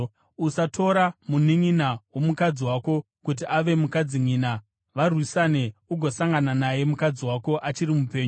“ ‘Usatora mununʼuna womukadzi wako kuti ave mukadzinyina, varwisane, ugosangana naye mukadzi wako achiri mupenyu.